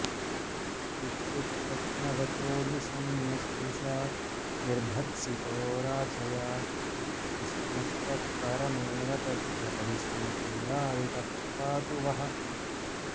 इत्युत्स्वप्नवचो निशम्य सरुषा निर्भर्त्सितो राधया कृष्णस्तत्परमेव तद्व्यपदिशन्क्रीडाविटः पातु वः